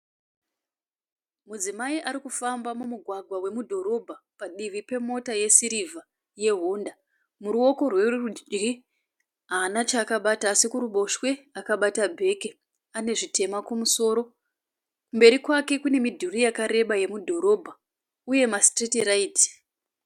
Mudzimai ari kufamba mumugwagwa wemudhorobha padivi pemota yesirivha yehonda. Murooko rwerudyi haana chaakabata asi kuruboshwe akabata bheke. Ane zvitema kumusoro. Kumberi kwake kune midhuri yakareba yemudhorobha uye masitiriti raiti.